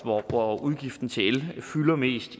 hvor udgiften til el fylder mest